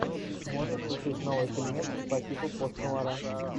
можешь включить новый фильмец по типу пост нуара